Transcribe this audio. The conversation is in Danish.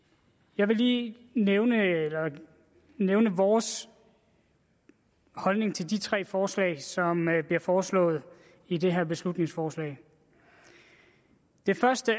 jeg vil lige nævne nævne vores holdning til de tre forslag som bliver foreslået i det her beslutningsforslag det første